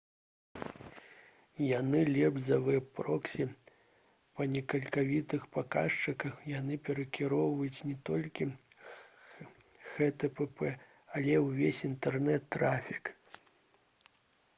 яны лепш за вэб-проксі па некалькіх паказчыках яны перанакіроўваюць не толькі http але ўвесь інтэрнэт-трафік